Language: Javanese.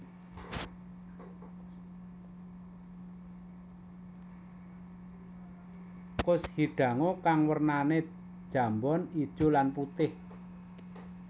Kushidango kang wernane jambon ijo lan putih